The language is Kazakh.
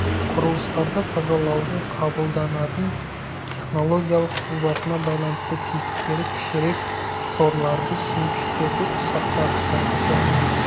құрылыстарды тазалаудың қабылданатын технологиялық сызбасына байланысты тесіктері кішірек торларды сүзгіштерді ұсақтағыштарды және